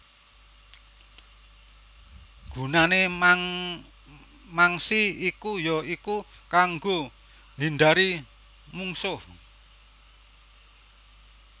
Gunané mangsi iku ya iku kanggo nghindari mungsuh